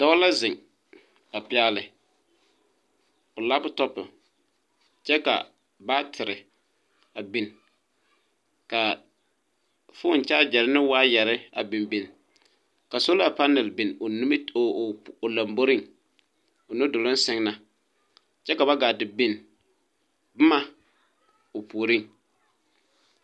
Dɔɔ la zeŋ a pɛgle o laptopɔ kyɛ ka batere a biŋ kyɛ ka foone kyaagyere ne wayare a biŋ biŋ ka sola panɛl a biŋ o lomboriŋ o nu duluŋ sɛŋ na kyɛ ka ba gaa te biŋ boma o puoriŋ.